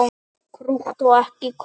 Krútt og ekki krútt.